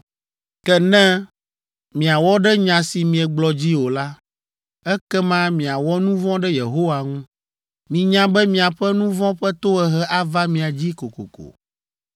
“Ke ne miawɔ ɖe nya si miegblɔ dzi o la, ekema miawɔ nu vɔ̃ ɖe Yehowa ŋu. Minya be miaƒe nu vɔ̃ ƒe tohehe ava mia dzi kokoko.